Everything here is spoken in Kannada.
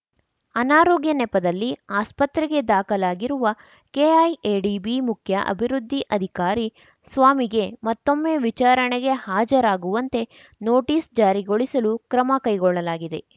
ಅನಾರೋಗ್ಯ ನೆಪದಲ್ಲಿ ಆಸ್ಪತ್ರೆಗೆ ದಾಖಲಾಗಿರುವ ಕೆಐಎಡಿಬಿ ಮುಖ್ಯ ಅಭಿವೃದ್ಧಿ ಅಧಿಕಾರಿ ಸ್ವಾಮಿಗೆ ಮತ್ತೊಮ್ಮೆ ವಿಚಾರಣೆಗೆ ಹಾಜರಾಗುವಂತೆ ನೊಟೀಸ್‌ ಜಾರಿಗೊಳಿಸಲು ಕ್ರಮ ಕೈಗೊಳ್ಳಲಾಗಿದೆ